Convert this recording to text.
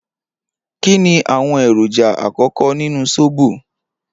Kini awọn eroja akọkọ nínú sóbò?